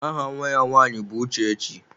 Aha Nwa ya nwaanyị bụ Uchechi.